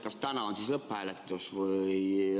Kas täna on siis lõpphääletus?